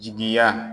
Jigiya